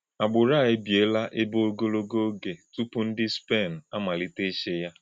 Àgbụrụ̄ à ébìélà èbè̄ à ọ̀gọ̀lọ̀gọ̀ ògé̄ túpù̄ ndị́ Spén àmálítè̄ íchị̄ yá.